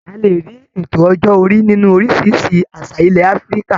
A lè rí Ètò ọjọ́ orí nínú oríṣiríṣi àṣà ilẹ̀ Áfíríkà